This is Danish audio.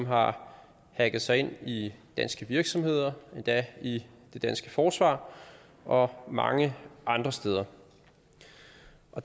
har hacket sig ind i danske virksomheder og endda i det danske forsvar og mange andre steder